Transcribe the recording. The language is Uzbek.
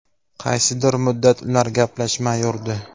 Qaysidir muddat ular gaplashmay yurdi.